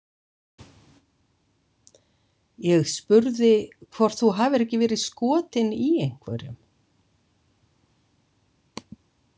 Ég spurði hvort þú hafir ekki verið skotin í einhverjum